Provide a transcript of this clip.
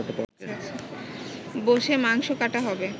বসে মাংস কাটা হবে